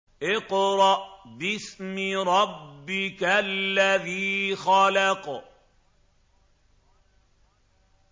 اقْرَأْ بِاسْمِ رَبِّكَ الَّذِي خَلَقَ